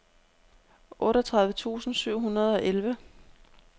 otteogtredive tusind syv hundrede og elleve